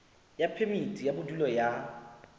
ya phemiti ya bodulo ya